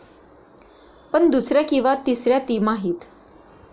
पण दुसऱ्या किंवा तिसऱ्या तिमाहीत?